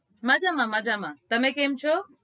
મજામાં મજામાં તમે કેમ છો